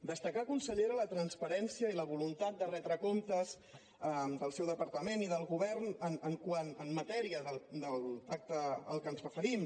destacar consellera la transparència i la voluntat de retre comptes del seu departament i del govern en matèria del pacte al qual ens referim